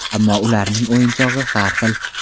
Ammo ularning o‘yinchog‘i har xil.